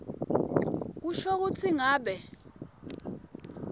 kusho kutsi ngabe